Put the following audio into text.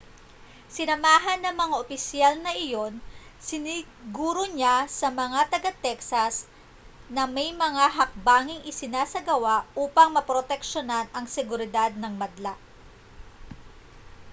sinamahan ng mga opisyal na iyon siniguro niya sa mga taga-texas na may mga hakbanging isinasagawa upang maproteksiyonan ang seguridad ng madla